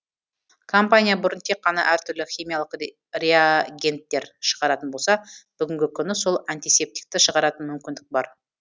компания бұрын тек қана әртүрлі химиялық реа генттер шығаратын болса бүгінгі күні сол антисептикті шығаратын мүмкіндігі бар